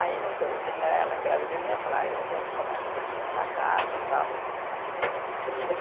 Aí no que eu né, ela engravida de mim, ela fala, aí ela começa a ter que montar a casa e tal. E